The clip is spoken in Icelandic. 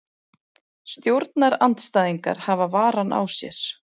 Stjórnarandstæðingar hafa varann á sér